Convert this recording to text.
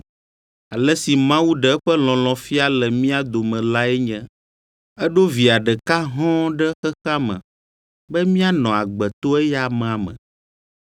Ale si Mawu ɖe eƒe lɔlɔ̃ fia le mía dome lae nye: eɖo via ɖeka hɔ̃ɔ ɖe xexea me be míanɔ agbe to eya amea me.